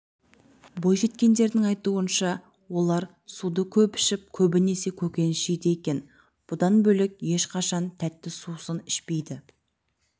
бойжеткендердің айтуынша олар суды көп ішіп көбінесе көкөніс жейді екен бұдан бөлек ешқашан тәтті сусын ішпейді